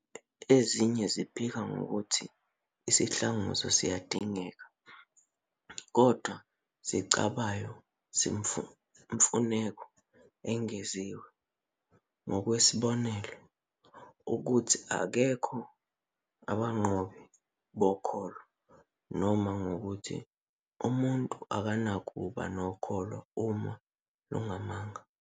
Ezinye ziphika ngokuthi isihlanguzo siyadingeka kodwa zicabayo izimfuneko ezengeziwe, ngokwesibonelo, ukuthi abekho abanqobi bokholo noma ngokuthi umuntu akanakuba nokholo uma lungamanga.